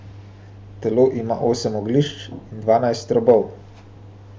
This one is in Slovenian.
Telo ima osem oglišč in dvanajst robov.